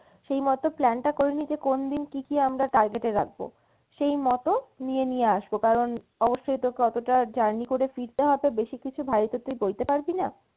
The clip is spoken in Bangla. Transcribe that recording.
সেই মতো plan টা করে নি যে কোন দিন কী কী আমরা target এ রাখবো সেই মতো নিয়ে নিয়ে আসবো কারন অবশ্যই তোকে অতোটা journey করে ফিরতে হবে বেশি কিছু ভারী তো তুই বইতে পারবিনা,